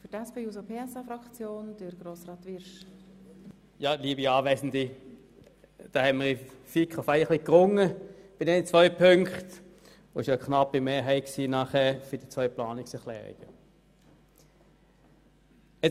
Wir haben in der FiKo um diese beiden Punkte gerungen, und die Mehrheiten für diese Planungserklärungen waren knapp.